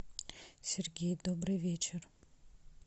сергей добрый вечер